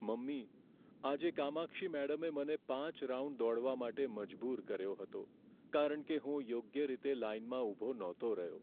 Mummy, આજે કામાક્ષી મેડમે મને પાંચ રાઉન્ડ દોડવા માટે મજબૂર કર્યો હતો, કારણ કે હું યોગ્ય રીતે લાઇનમાં ઊભો નહોતો રહ્યો.